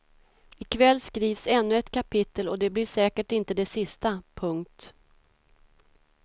I kväll skrivs ännu ett kapitel och det blir säkert inte det sista. punkt